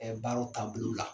Ɛɛ baaraw taabolo la.